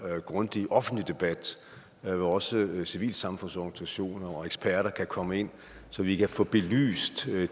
grundig offentlig debat hvor også civilsamfundsorganisationer og eksperter kan komme ind så vi kan få belyst